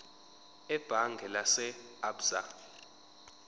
ebhange lase absa